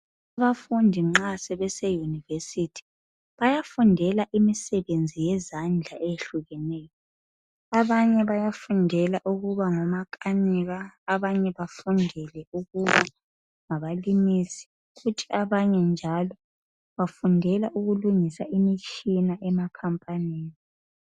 Abafundi nxa sebese university. Bayafundela imisebenzi yezandla eyehlukeneyo.. Abanye bayafundela ukuba ngomakanika., Abanye bafundele ukuba ngabalimisi. Kuthi abanye njalo, bafundela ukulungisa imitshina emakhampanini.